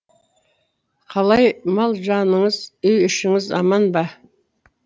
қалай мал жаныңыз үй ішіңіз аман ба